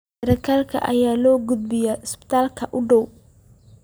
Sarkaalka ayaa loo gudbiyay isbitaalka u dhowaa.